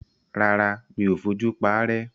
Rárá, mi ò fojú paárẹ́.